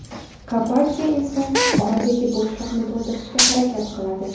Kapadze esa oradagi bo‘shliqni to‘ldirishga harakat qiladi.